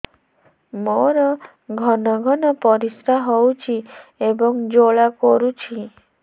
ମୋର ଘନ ଘନ ପରିଶ୍ରା ହେଉଛି ଏବଂ ଜ୍ୱାଳା କରୁଛି